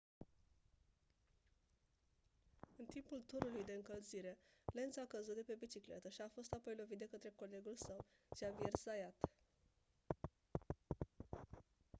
în timpul turului de încălzire lenz a căzut de pe bicicletă și a fost apoi lovit de către colegul său xavier zayat